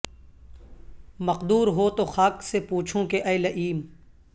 مقدور ہو تو خاک سے پوچھوں کہ اے لیئم